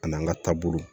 A n'an ka taabolo